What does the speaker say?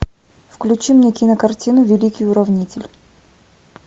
включи мне кинокартину великий уравнитель